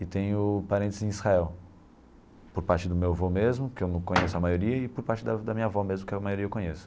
E tenho parentes em Israel, por parte do meu avô mesmo, que eu não conheço a maioria, e por parte da da minha avó mesmo, que a maioria eu conheço.